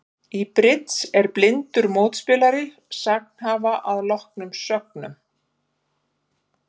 Í bridds er blindur mótspilari sagnhafa að loknum sögnum.